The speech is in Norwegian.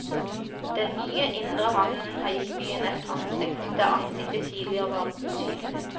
Den nye indre havnen har gitt byen et ansikt, der ansiktet tidligere var utydelig.